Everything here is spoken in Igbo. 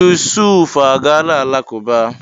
Yusuf agaala alakụba.